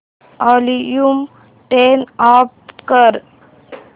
volume turn off कर